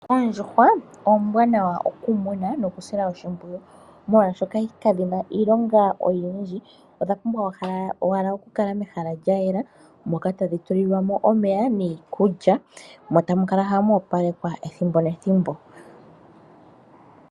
Oondjuhwa oombwanawa okumuna nokusila oshipwiyu, molwaashoka kadhina iilonga oyindji, odha pumbwa owala okukala mehala lya yela, moka tadhi tulilwa mo omeya niikulya, mo tamu kala hamu opalekwa ethimbo nethimbo.